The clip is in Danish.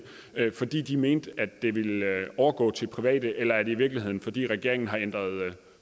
fordi de mente at det ville overgå til private eller er det i virkeligheden fordi regeringen har ændret